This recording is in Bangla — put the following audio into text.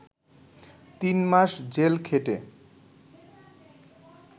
তিন মাস জেল খেটে